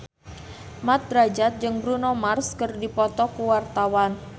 Mat Drajat jeung Bruno Mars keur dipoto ku wartawan